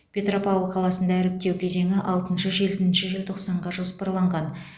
петропавл қаласында іріктеу кезеңі алтыншы жетінші желтоқсанға жоспарланған